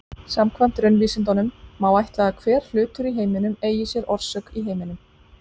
Samkvæmt raunvísindunum má ætla að hver hlutur í heiminum eigi sér orsök í heiminum.